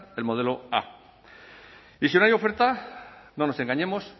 el modelo a y si no hay oferta no nos engañemos